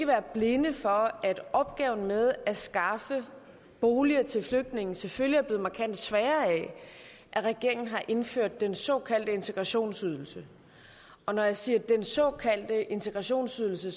være blinde for at opgaven med at skaffe boliger til flygtninge selvfølgelig er blevet markant sværere af at regeringen har indført den såkaldte integrationsydelse og når jeg siger den såkaldte integrationsydelse